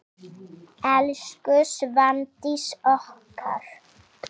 Elsku Svandís okkar.